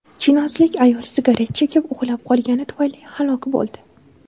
Chinozlik ayol sigaret chekib uxlab qolgani tufayli halok bo‘ldi.